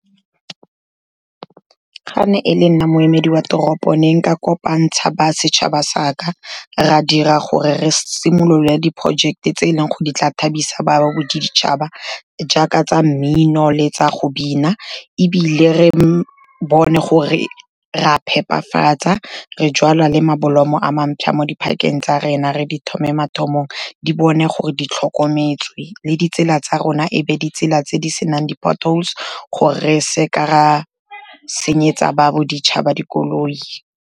Ga ne e le nna moemedi wa toropong, ne nka kopantsha basetšhaba saka, ra dira gore re simolole di-project-e tse e leng gore di tla thabisa ba baboditšhaba jaaka tsa mmino le tsa go bina. Ebile re bone gore rea phepafatsa, re jala le mablomme a mantsha mo di-park-eng tsa rena, re di thome mathamong, di bone gore di tlhokometswe, le ditsela tsa rona e be ditsela tse di senang di-potholes, gore re seka ra senyetsa baboditšhaba dikoloi.